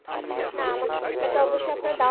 না আমাদের ঢাকাতে অবশ্যই আপনার